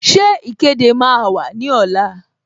Ṣé ìkéde máa wà ní ọ̀la?